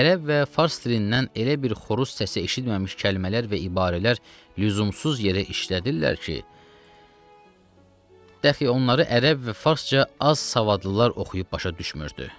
Ərəb və fars dilindən elə bir xoruz səsi eşitməmiş kəlmələr və ibarələr lüzumsuz yerə işlədirlər ki, dəxi onları ərəb və farsca az savadlılar oxuyub başa düşmürdü.